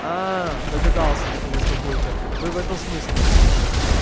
а-а-а-а-а догадался наконец папулька вы в этом смысле